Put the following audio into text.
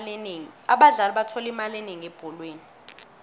abadlali bathola imali enengi ebholweni